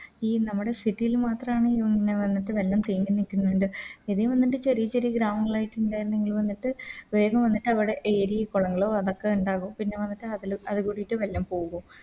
ഈ നമ്മുടെ City ല് മാത്രാണ് പിന്നെ വന്നിട്ട് വെള്ളം തിങ്ങി നിക്കുന്നത് ഇത് വന്നിട്ട് ചെരിയ ചെരിയ ഗ്രാമങ്ങളയിട്ട് ഇണ്ടാർന്നെങ്കിൽ വന്നിട്ട് വേഗം വന്നിട്ട് അവിടെ Area കോളങ്ങളു അതൊക്കെ ഉണ്ടാവു പിന്നെ വന്നിട്ട് അതില് അത് കൂടിട്ട് വെള്ളം പോകും